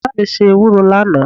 Mama mi se ewuro lana